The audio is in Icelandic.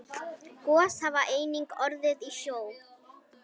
Gos hafa einnig orðið í sjó.